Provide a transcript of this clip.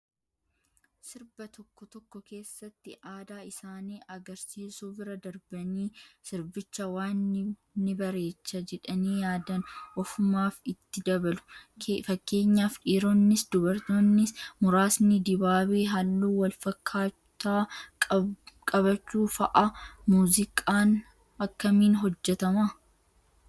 Sirba tokko tokko keessatti aadaa isaanii agarsiisuu bira darbanii sirbicha waan ni bareecha jedhanii yaadan ofumaaf itti dabalu. Fakkeenyaaf dhiironnis dubartoonni muraasni dibaabee halluu wal fakkaataa qabchuu fa'aa. Muuziqaan akkamiin hojjatamaa?